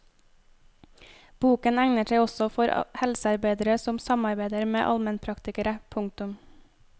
Boken egner seg også for helsearbeidere som samarbeider med allmennpraktikere. punktum